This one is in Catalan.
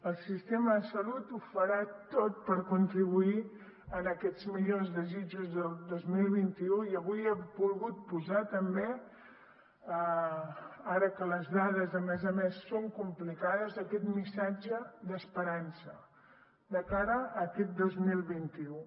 el sistema de salut ho farà tot per contribuir a aquests millors desitjos del dos mil vint u i avui ha volgut posar també ara que les dades a més a més són complicades aquest missatge d’esperança de cara a aquest dos mil vint u